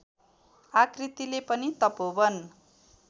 आकृतिले पनि तपोवन